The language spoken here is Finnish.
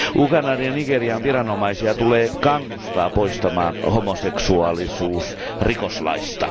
Ugandan ja Nigerian viranomaisia tulee kannustaa poistamaan homoseksuaalisuus rikoslaista.